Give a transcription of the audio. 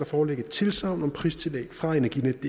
foreligge et tilsagn om pristillæg fra energinetdk